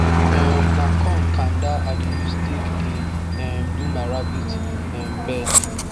um na corn kanda i dey use take dey um do my rabbit um bed